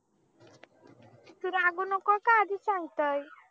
कधी सांगतंय